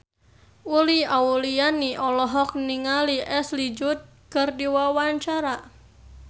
Uli Auliani olohok ningali Ashley Judd keur diwawancara